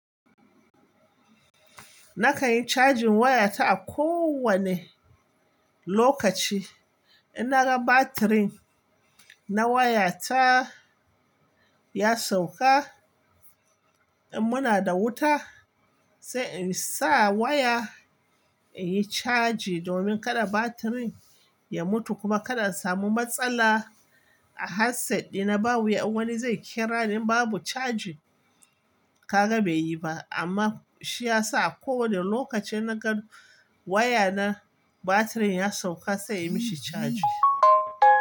Na ka yi charging waya ta a kowane lokaci. In na ga batirin na waya ta ya sauka, in muna da wuta sai in sa waya in yi caji domin kada batirin ya mutu kuma kada a samu matsala. A headset dina babu wanda zai kira in babu charging. Kaga bai yi ba amma shi ya sa a kowane lokaci in na gan waya na batirin ya sauka sai in yi mashi charging.